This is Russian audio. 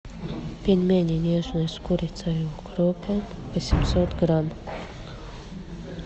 пельмени нежные с курицей и укропом восемьсот грамм